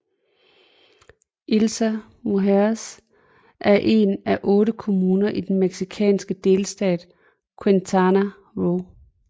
Isla Mujeres er en af otte kommuner i den mexicanske delstat Quintana Roo